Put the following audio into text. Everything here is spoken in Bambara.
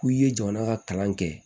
K'i ye jamana ka kalan kɛ